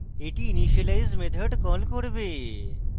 এটি initialize method call করবে